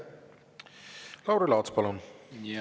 Lauri Laats, palun!